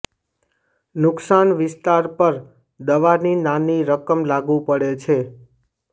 નુકસાન વિસ્તાર પર દવાની નાની રકમ લાગુ પડે છે